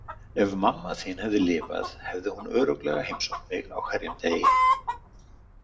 Ef mamma þín hefði lifað hefði hún örugglega heimsótt mig á hverjum degi.